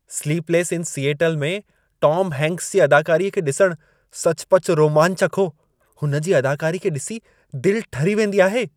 "Sleepless in Seattle" में Tom Hanks जी अदाकारीअ खे ॾिसण सचुपचु रोमांचक हो। हुन जी अदाकारी खे डि॒सी दिलि ठरी वेंदी आहे।